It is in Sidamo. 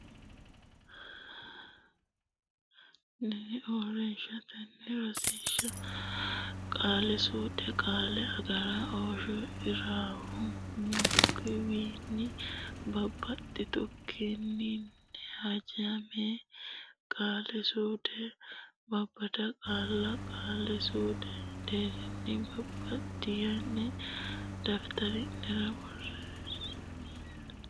nni uurrinshubbatenni Rosiishsha Qaali suude Qaale agar ooshsh ira wo m unku wii nni bab baxx itu kki nni haj meemmo Qaali suude Babbada qaalla qaali suudu deerrinni babbaddine daftari nera.